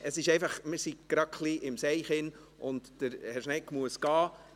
Wir sind gerade ein wenig im Verzug, und Herr Schnegg muss gehen.